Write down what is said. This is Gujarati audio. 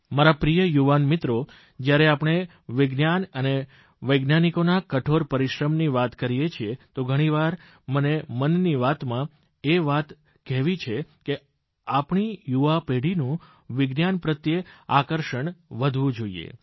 મારા પ્રિય યુવાન મિત્રો જયારે આપણે વિજ્ઞાન અને વૈજ્ઞાનિકોના કઠોર પરિશ્રમની વાત કરીએ છીએ તો ઘણીવાર મેમન કી બાતમાંએ વાતને કહી છે કે આપણી યુવાનપેઢીનું વિજ્ઞાન પ્રત્યે આકર્ષણ વધવું જોઇએ